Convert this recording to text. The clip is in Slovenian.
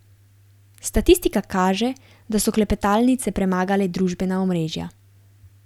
Statistika kaže, da so klepetalnice premagale družbena omrežja.